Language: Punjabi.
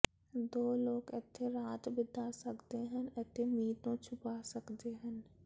ਦੋ ਲੋਕ ਇੱਥੇ ਰਾਤ ਬਿਤਾ ਸਕਦੇ ਹਨ ਅਤੇ ਮੀਂਹ ਤੋਂ ਛੁਪਾ ਸਕਦੇ ਹਨ